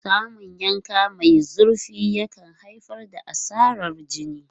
Samun yanka mai zurfi yakan haifar da asarar jini.